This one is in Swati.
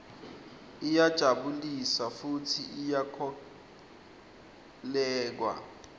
iyajabulisa futsi iyakholweka